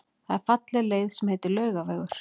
Það er falleg leið sem heitir Laugavegur.